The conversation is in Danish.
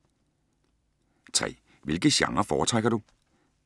3) Hvilke genrer foretrækker du?